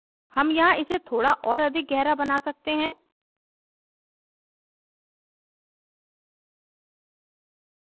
हम यहाँ इसे थोड़ा और अधिक गहरा बना सकते हैं